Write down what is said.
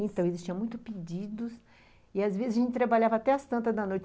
Então, existiam muitos pedidos e, às vezes, a gente trabalhava até as tantas da noite.